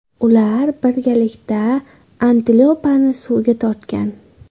Ular birgalikda antilopani suvga tortgan.